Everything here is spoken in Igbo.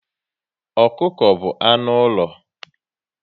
Ọkụkọ bụ anụ ụlọ